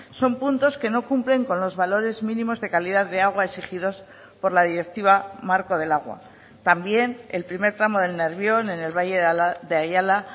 son puntos que no cumplen con los valores mínimos de calidad de agua exigidos por la directiva marco del agua también el primer tramo del nervión en el valle de ayala